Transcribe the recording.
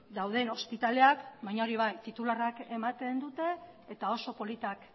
dauden ospitaleak baina hori bai titularrak ematen dute eta oso politak